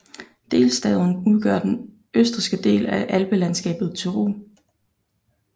Delstaten udgør den østrigske del af alpelandskabet Tyrol